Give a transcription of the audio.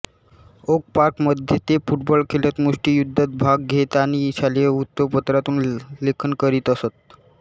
okay Park मध्ये ते football खेळत मुष्टियुद्धात भाग घेत आणि शालेय वृत्तपत्रातून लेखन करीत असत